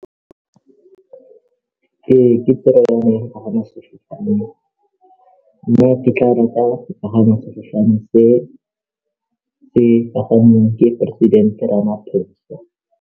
Ee, ke toro ya me go pagama sefofane mme ke tla rata go pagama sefofane se pagameng ke poresidente Ramaphosa.